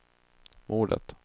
mordet